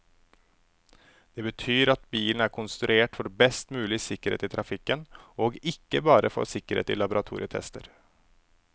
Det betyr at bilen er konstruert for best mulig sikkerhet i trafikken, og ikke bare for sikkerhet i laboratorietester.